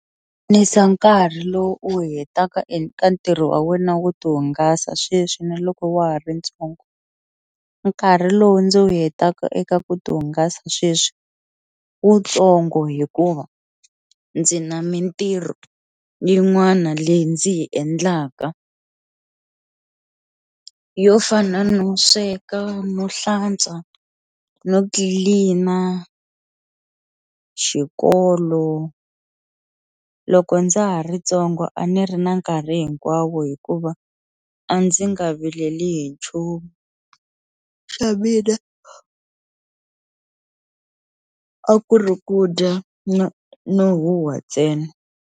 nkarhi lowu u wu hetaka eka ntirho wa wena wo ti hungasa sweswi na loko wa ha ri ntsongo, nkarhi lowu ndzi wu hetaka eka ku ti hungasa sweswi wutsongo hikuva ndzi na mintirho yin'wana leyi ndzi yi endlaka yo fana no sweka, no hlantswa, no tlilina, xikolo loko ndza ha ri ntsongo a ni ri na nkarhi hinkwawo hikuva a ndzi nga vileli hi nchumu xa mina a ku ri ku dya no no huhwa ntsena.